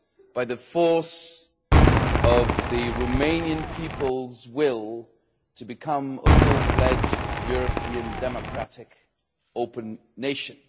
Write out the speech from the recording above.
by the force of the Romanian people's will to become a fully fledged European, democratic, open nation.